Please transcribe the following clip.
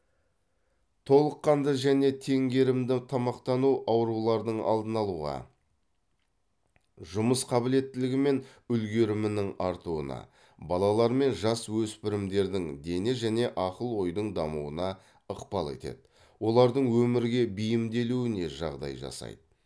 толыққанды және теңгерімді тамақтану аурулардың алдын алуға жұмыс қабілеттілігі мен үлгерімінің артуына балалар мен жасөспірімдердің дене және ақыл ойдың дамуына ықпал етеді олардың өмірге бейімделуіне жағдай жасайды